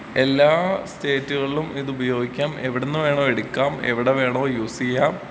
എല്ലാ സ്റ്റയ്റ്റ് കൾലും ഇതുപയോഗിക്കാം എവിടുന്ന് വെണോം എടുക്കാം എവിടെ വേണോ യൂസീയാം.